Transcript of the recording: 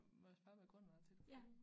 Må jeg spørge hvad grunden var til du flyttede?